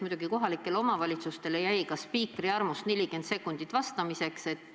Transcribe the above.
Muidugi, kohalikele omavalitsustele vastamiseks jäi ka spiikri armust 40 sekundit.